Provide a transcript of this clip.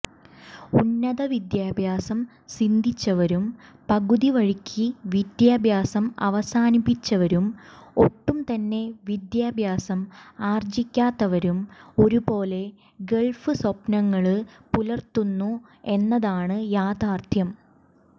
ഉന്നതവിദ്യാഭ്യാസം സിദ്ധിച്ചവരും പകുതിവഴിക്ക് വിദ്യാഭ്യാസം അവസാനിപ്പിച്ചവരും ഒട്ടും തന്നെ വിദ്യാഭ്യാസം ആര്ജിക്കാത്തവരും ഒരുപോലെ ഗള്ഫ് സ്വപ്നങ്ങള് പുലര്ത്തുന്നു എന്നതാണ് യാഥാര്ഥ്യം